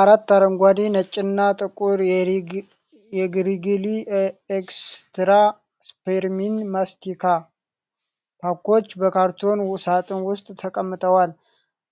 አራት አረንጓዴ፣ ነጭና ጥቁር የሪግሊ ኤክስትራ ስፒርሚንት ማስቲካ ፓኮች በካርቶን ሣጥን ውስጥ ተቀምጠዋል።